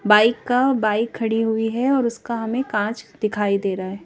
Bike का bike खड़ी हुई है और उसका हमें कांच दिखाई दे रहा है।